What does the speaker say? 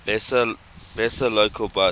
vesa local bus